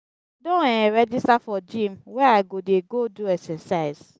i don um register for gym where i go dey go do exercise.